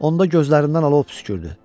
Onda gözlərimdən alov püskürdü.